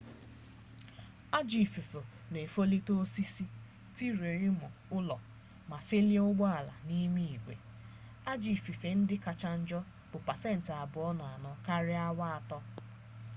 ajọ ifufe na efolite osisi tirie ulo ma felie ụgbọala n'ime igwe ajọ ifufe ndị kacha njọ bụ pasentị abụọ na-anọ karịa awa atọ